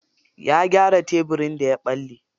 Ya gyara tebirin daya ɓalle.